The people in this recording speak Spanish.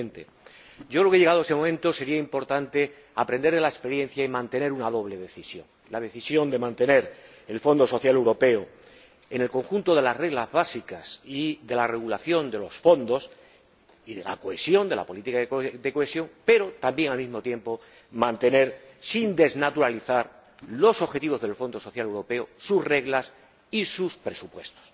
2020. Yo creo que, llegado ese momento, sería importante aprender de la experiencia y mantener una doble decisión la decisión de mantener el Fondo Social Europeo en el conjunto de las reglas básicas y de la regulación de los fondos y de la política de cohesión, pero también, al mismo tiempo, la decisión de mantener, sin desnaturalizarlos, los objetivos del Fondo Social Europeo, sus reglas y sus presupuestos.